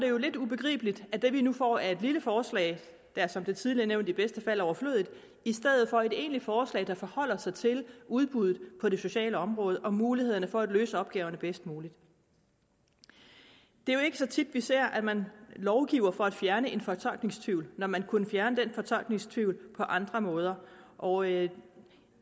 jo lidt ubegribeligt at det vi nu får er et lille forslag der som det tidligere er nævnt i bedste fald er overflødigt i stedet for et egentligt forslag der forholder sig til udbuddet på det sociale område og mulighederne for at løse opgaverne bedst muligt det er jo ikke så tit at vi ser at man lovgiver for at fjerne en fortolkningstvivl når man kunne fjerne den fortolkningstvivl på andre måder og jeg